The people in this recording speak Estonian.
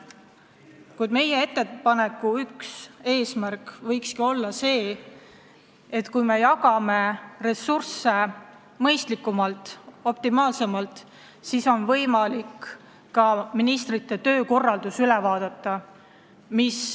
Kuid meie ettepaneku üks eesmärk ongi see, et kui me jagame ressursse mõistlikumalt, optimaalsemalt, siis on võimalik ka ministrite töökorraldus üle vaadata.